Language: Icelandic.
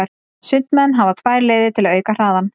Sundmenn hafa tvær leiðir til að auka hraðann.